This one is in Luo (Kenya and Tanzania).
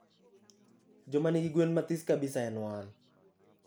jomanigi gwen mathis kabisa en wan